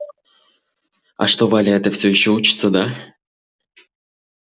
а что валя эта всё ещё учится да